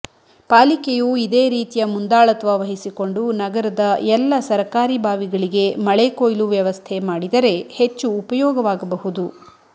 ಪಾಲಿಕೆಯು ಇದೇ ರೀತಿಯ ಮುಂದಾಳತ್ವ ವಹಿಸಿಕೊಂಡು ನಗರದ ಎಲ್ಲ ಸರಕಾರಿ ಬಾವಿಗಳಿಗೆ ಮಳೆಕೊಯ್ಲು ವ್ಯವಸ್ಥೆ ಮಾಡಿದರೆ ಹೆಚ್ಚು ಉಪಯೋಗವಾಗಬಹುದು